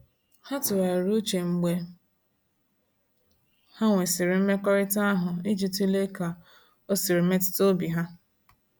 Ha tụgharịrị uche mgbe ha nwesịrị mmekọrịta ahụ iji tụlee ka o siri metụta obi ha.